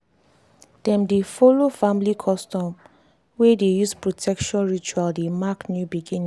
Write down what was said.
dem dey follow family custom wey dey use protection ritual dey mark new beginning.